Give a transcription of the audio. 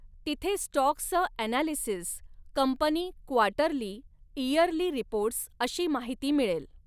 तिथे स्टॉक्सचं analysis, company quarterly, yearly reports अशी माहिती मिळेल.